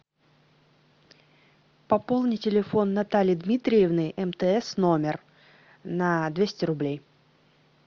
пополни телефон натальи дмитриевны мтс номер на двести рублей